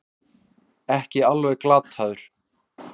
Ekki alveg glataður